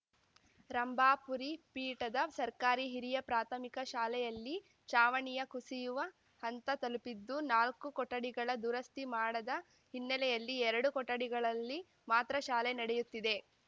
ರಂಭಾಪುರಿ ಪೀಠದ ಸರ್ಕಾರಿ ಹಿರಿಯ ಪ್ರಾಥಮಿಕ ಶಾಲೆಯಲ್ಲಿ ಚಾವಣಿಯ ಕುಸಿಯುವ ಹಂತ ತಲುಪಿದ್ದು ನಾಲ್ಕು ಕೊಠಡಿಗಳ ದುರಸ್ತಿ ಮಾಡದ ಹಿನ್ನೆಲೆಯಲ್ಲಿ ಎರಡು ಕೊಠಡಿಗಳಲ್ಲಿ ಮಾತ್ರ ಶಾಲೆ ನಡೆಯುತ್ತಿದೆ